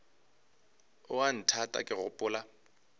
o a nthata ke gopola